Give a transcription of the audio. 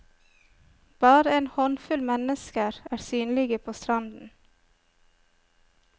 Bare en håndfull mennesker er synlige på stranden.